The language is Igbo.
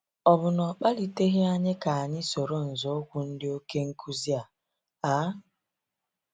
Ọ bụ na ọ kpaliteghị anyị ka- anyị soro nzoukwu ndị oké nkuzi a? a?